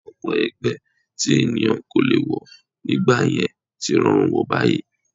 Ọ̀pọ̀ ẹgbẹ́ tí ènìyàn kò lè wọ̀ nígbà yẹn tí rọrùn wọ̀ báyìí